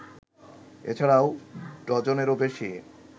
এ ছাড়াও ডজনেরও বেশি